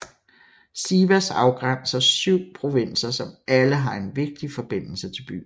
Sivas afgrænser 7 provinser som alle har en vigtig forbindelse til byen